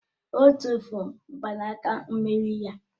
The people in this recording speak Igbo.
Ọ tụ́furu mgbanaka mmeri ya